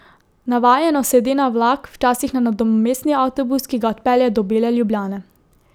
Navajeno sede na vlak, včasih na nadomestni avtobus, ki ga odpelje do bele Ljubljane.